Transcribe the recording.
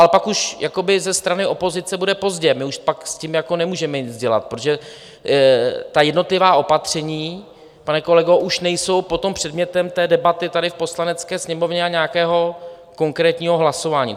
Ale pak už ze strany opozice bude pozdě, my už pak s tím nemůžeme nic dělat, protože ta jednotlivá opatření, pane kolego, už nejsou potom předmětem té debaty tady v Poslanecké sněmovně a nějakého konkrétního hlasování.